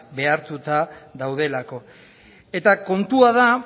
behartuta daudelako eta kontua da